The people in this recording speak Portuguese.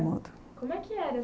Como é que era?